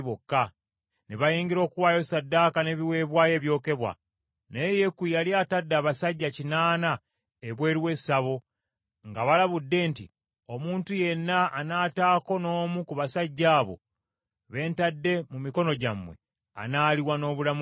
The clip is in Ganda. Ne bayingira okuwaayo ssaddaaka n’ebiweebwayo ebyokebwa. Naye Yeeku yali atadde abasajja kinaana ebweru w’essabo, ng’abalabudde nti, “Omuntu yenna anaataako n’omu ku basajja abo be ntadde mu mikono gyammwe, anaaliwa n’obulamu bwe ye.”